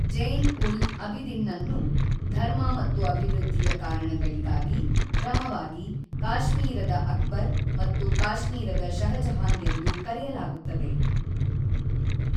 ಜ಼ೈನ್-ಉಲ್-ಅಬಿದಿನ್‌ನನ್ನು ಧರ್ಮ ಮತ್ತು ಅಭಿವೃದ್ಧಿಯ ಕಾರಣಗಳಿಗಾಗಿ, ಕ್ರಮವಾಗಿ, ಕಾಶ್ಮೀರದ ಅಕ್ಬರ್ ಮತ್ತು ಕಾಶ್ಮೀರದ ಷಹಜಹಾನ್ ಎಂದು ಕರೆಯಲಾಗುತ್ತದೆ.